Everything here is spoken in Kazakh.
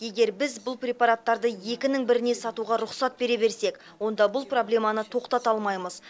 егер біз бұл препараттарды екінің біріне сатуға рұқсат бере берсек онда бұл проблеманы тоқтата алмаймыз